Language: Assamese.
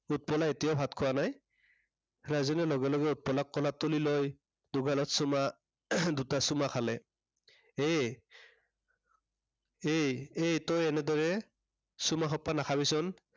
উৎপলাই এতিয়াও ভাত খোৱা নাই। ৰাজেনে লগে লগে উৎপলাক কোলাত তুলি লৈ, দুগালত চুমা দুটা চুমা খালে। এই এই, এই তই এনেদৰে, চুমা সোপা নাখাবিচোন।